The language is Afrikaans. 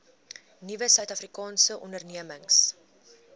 nuwe suidafrikaanse ondernemings